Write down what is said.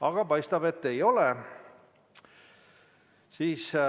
Aga paistab, et ei ole.